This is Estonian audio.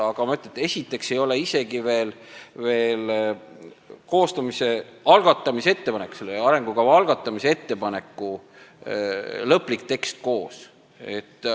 Aga ma ütlen, et meil ei ole isegi veel selle arengukava algatamise ettepaneku lõplik tekst koos.